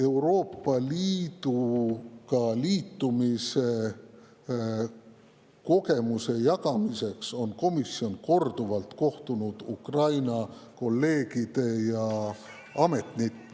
Euroopa Liiduga liitumise kogemuste jagamiseks on komisjon korduvalt kohtunud Ukraina kolleegide ja ametnikega.